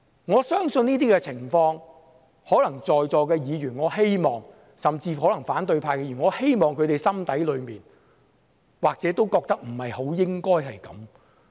我希望在席議員，甚至反對派議員，心底裏或許也覺得不應該出現此等情況。